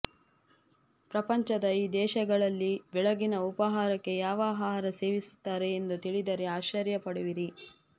ಪ್ರಪಂಚದ ಈ ದೇಶಗಳಲ್ಲಿ ಬೆಳಗಿನ ಉಪಹಾರಕ್ಕೆ ಯಾವ ಆಹಾರ ಸೇವಿಸುತ್ತಾರೆ ಎಂದು ತಿಳಿದರೆ ಆಶ್ಚರ್ಯ ಪಡುವಿರಿ